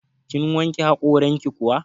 Kin wanke haƙoranki kuwa?